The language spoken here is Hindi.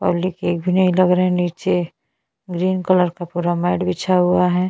कैंप बन डहा डर काजे सोठे --